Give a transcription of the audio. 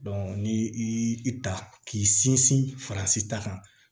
ni i ta k'i sinsin faransi ta kan